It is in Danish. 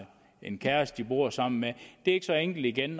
en kæreste de bor sammen med det er ikke så enkelt igen